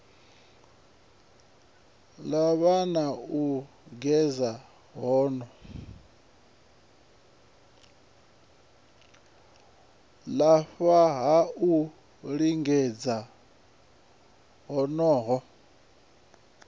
lafha ha u lingedza honoho